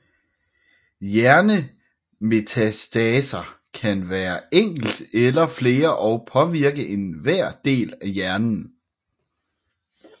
Hjernemetastaser kan være enkelt eller flere og påvirke enhver del af hjernen